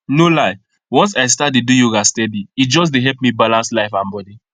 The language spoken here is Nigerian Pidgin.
no lie once i start dey do yoga steady e just dey help me balance life and body